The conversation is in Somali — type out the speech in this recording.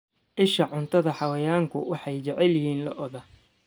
Isha cuntada Xayawaanku waxay jecel yihiin lo'da.